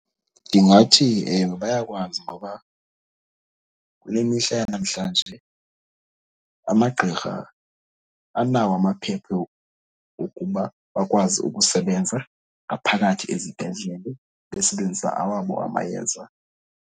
Ndingathi, ewe bayakwazi ngoba kule mihla yanamhlanje amagqirha anawo amaphepha wokuba bakwazi ukusebenza ngaphakathi ezibhedlele, besebenzisa awabo amayeza.